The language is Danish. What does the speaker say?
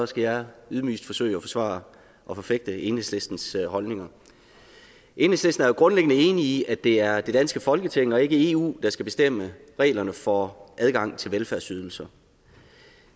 skal jeg ydmygest forsøge at forsvare og forfægte enhedslistens holdninger enhedslisten er grundlæggende enig i at det er det danske folketing og ikke eu der skal bestemme reglerne for adgangen til velfærdsydelser